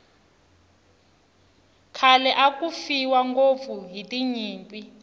khale aku fiwa ngopfu hiti nyimpi